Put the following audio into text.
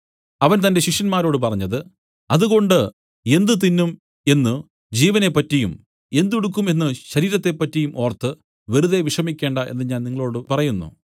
അവൻ തന്റെ ശിഷ്യന്മാരോട് പറഞ്ഞത് അതുകൊണ്ട് എന്ത് തിന്നും എന്നു ജീവനെ പറ്റിയും എന്ത് ഉടുക്കും എന്നു ശരീരത്തെ പറ്റിയും ഓർത്ത് വെറുതെ വിഷമിക്കണ്ട എന്നു ഞാൻ നിങ്ങളോടു പറയുന്നു